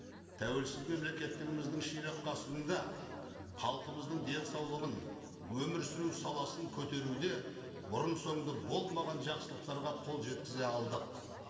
тәуелсіз мемлекеттігіміздің ширақ ғасырында халқымыздың денсаулығын өмір сүру саласын көтеруде бұрын сонды болмаған жақсылықтарға қол жеткізе алдық